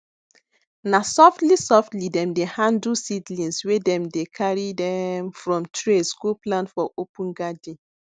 na softly softly dem de handle seedlings wen dem dey carry dem from trays go plant for open garden